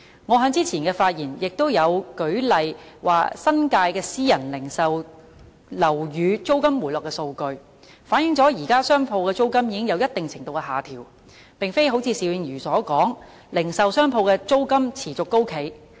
我在之前的發言亦舉出了新界私人零售樓宇租金回落的數據，反映現時商鋪的租金已經有一定程度的下調，而並非邵議員所說般持續高企。